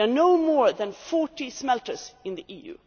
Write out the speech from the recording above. There are no more than 40 smelters in the EU.